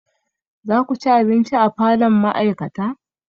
Za ku ci abinci a falon ma'aikata?